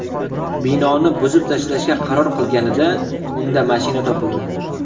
Binoni buzib tashlashga qaror qilinganida unda mashina topildi.